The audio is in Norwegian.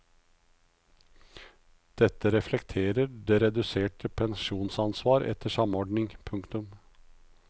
Dette reflekterer det reduserte pensjonsansvar etter samordning. punktum